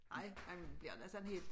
Ej ej man bliver da sådan helt